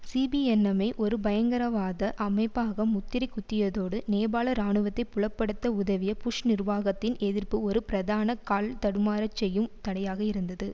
CPN-M ஐ ஒரு பயங்கரவாத அமைப்பாக முத்திரை குத்தியதோடு நேபாள இராணுவத்தை புலப்படுத்த உதவிய புஷ் நிர்வாகத்தின் எதிர்ப்பு ஒரு பிரதான கால்தடுமாறச் செய்யும் தடையாக இருந்தது